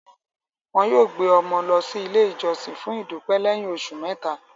Wọn yóò gbé ọmọ náà lọ sí ilé ìjọsìn fún ìdúpẹ́ lẹ́yìn oṣù mẹ́ta.